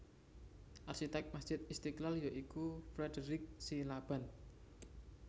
Arsitek Masjid Istiqlal ya iku Frederich Silaban